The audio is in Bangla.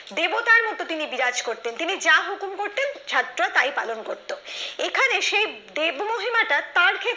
দেবতার মতো তিনি বিরাজ করতেন তিনি যা হুকুম করত ছাত্ররা তাই পালন করতো এখানে সেই দেব মহিমাটা তার সেই